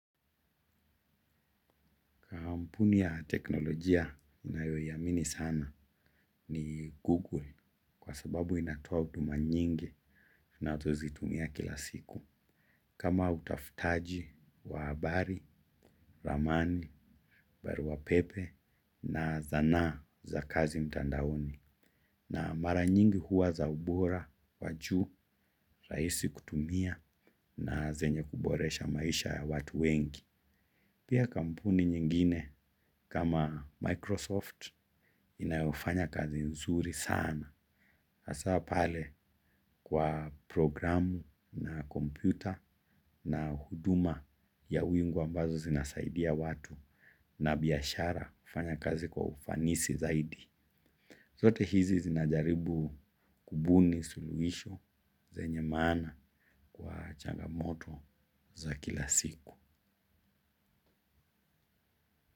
Kampuni ya teknolojia ninayoiamini sana ni Google, kwa sababu inatoa huduma nyingi na twazitumia kila siku. Kama utafutaji wa habari, ramani, barua pepe na zana za kazi mtandaoni. Na mara nyingi huwa za ubora wa juu, rahisi kutumia na zenye kuboresha maisha ya watu wengi. Pia kampuni nyingine kama Microsoft inayofanya kazi nzuri sana. Hasa pale kwa programu na kompyuta na huduma ya wingu ambazo zinasaidia watu na biashara kufanya kazi kwa ufanisi zaidi. Zote hizi zinajaribu kubuni suluhisho zenye maana kwa changamoto za kila siku.